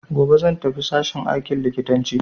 Gobe zan tafi sashen aikin likitanci.